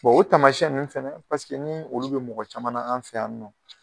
o taamasiɲɛn nunnu fɛnɛ, paseke ni olu be mɔgɔ caman na an fɛ yan nɔ.